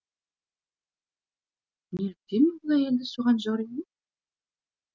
неліктен мен бұл әйелді соған жоримын